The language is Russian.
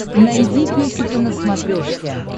найди песика на смотрешке